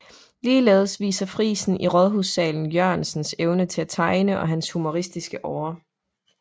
Ligeledes viser frisen i Rådhushallen Jørgensens evne til at tegne og hans humoristisk åre